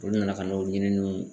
Olu nana ka n'o ɲininiw.